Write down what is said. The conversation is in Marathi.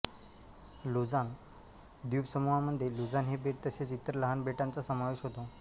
लुझान द्वीपसमूहामध्ये लुझान हे बेट तसेच इतर लहान बेटांचा समावेश होतो